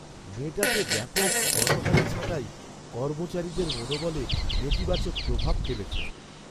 মেটাতে ব্যাপক গণহারে ছাঁটাই কর্মচারীদের মনোবলে নেতিবাচক প্রভাব ফেলেছে।